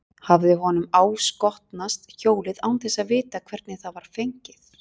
Hafði honum áskotnast hjólið án þess að vita hvernig það var fengið?